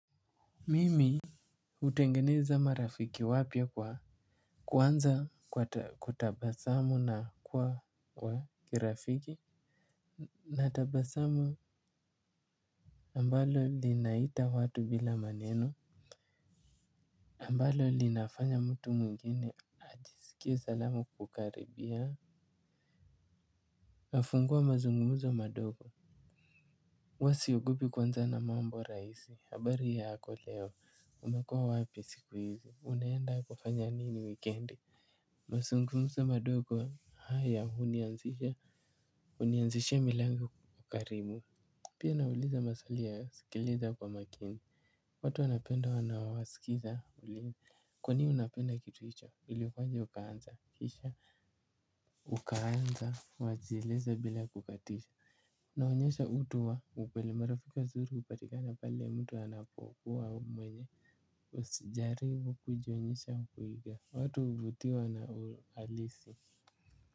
Mimi hutengeneza marafiki wapya kwa kuanza kutabasamu na kuwa kirafiki. Natabasamu ambalo linaita watu bila maneno ambalo linafanya mtu mwingine ajiskie salama kukukaribia. Nafungua mazungumzo madogo huwa siogopi kuanza na mambo rahisi habari yako leo umekuwa wapi siku hizi unaenda kufanya nini wikendi mazungumzo madogo haya hunianzisha hunianzishia milango ukarimu pia nauliza maswali ya sikiliza kwa makini watu wanapenda wanaowaskiza kwa nini unapenda kitu hicho ilikuwaje ukaanza kisha ukaanza wanajieleza bila kukatizwa. Naonyesha utu wa upole marafiki wazuri hupatikana pale mtu anapokua mwenye usijaribu kujionyesha au kuiga watu huvutiwa na uhalisi.